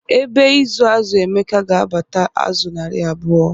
Ebe ịzụ azụ Emeka ga-abata azụ narị abụọ.